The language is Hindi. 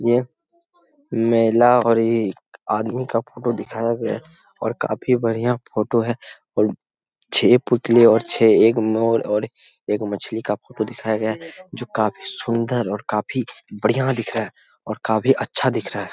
यह महिला और एक आदमी का फोटो दिखाया गया है। और काफी बढ़िया फोटो है। और छे पुतले और छे एक मोर और एक मछली का फोटो दिखाया गया है जो काफी सुन्दर और काफी बढ़िया दिख रहा है और काफी अच्छा दिख रहा है।